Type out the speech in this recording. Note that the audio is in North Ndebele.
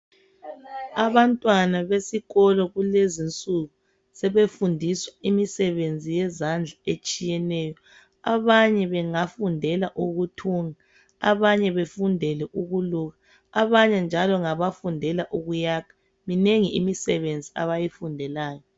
Abantwana besikolo kulezinsuku sebefundiswa imisebenzi yezandla etshiyeneyo abanye bengafundela ukuthunga abanye befundele ukuluka abanye njalo ngabafundele ukuyakha minengi imisebenzi abayifundelayo.